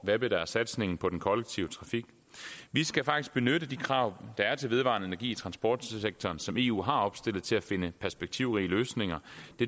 hvad blev der af satsningen på den kollektive trafik vi skal faktisk benytte de krav der er til vedvarende energi i transportsektoren og som eu har opstillet til at finde perspektivrige løsninger